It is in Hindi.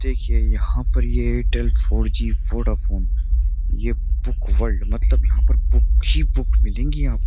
देखिए यहाँ पर ये एयरटेल फोर जी वोडाफ़ोन ये बुक वर्ल्ड मतलब यहाँ पर बुक ही बुक मिलेंगी यहाँ --